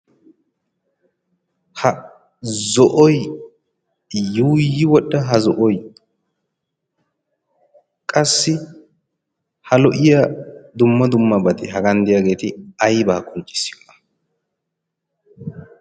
Ha zo'oy yuuyi wodhdha ha zo'oy qassi ha lo'iya dumma dummabati hagan de'iyaageeti aybaa qonccissiyoona?